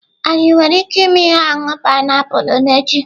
Anyị nwere ike ịme ihe ọṅụṅụ painiapulu n'echi?